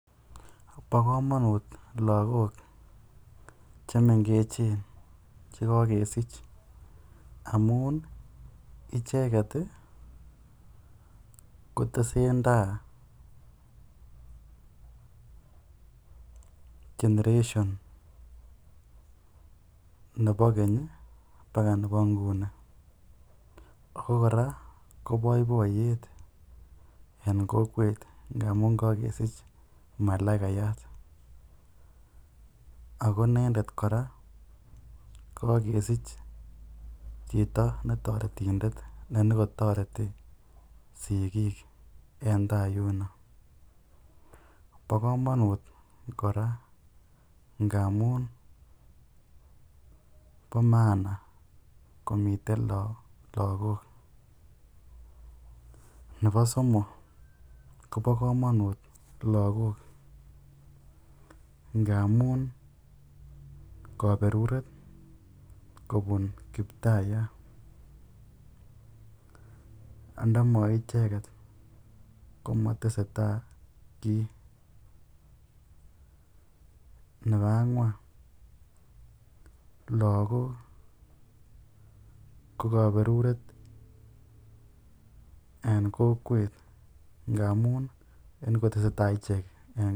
Bokomonut lokok chemengechen chekokesich amun icheket kotesenta generation nebo keny bakaa nebo nguni ak ko koraa ko boiboiyet en kokwet ndamun kokesich malaikayat ak ko inendet kora kokokesich chito netoretindet nekotoreti sikik en taa yuno, bokomonut kora ngamun bo maana komiten lokok, nebo somok kobokomonut lokok ngamun koberuret kobun kiptayat andama icheket komoteseta kii, nebo angwan lokok ko koberuret en kokwet ngamun en koteseta ichek.